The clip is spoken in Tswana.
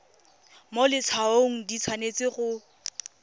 mo letshwaong di tshwanetse go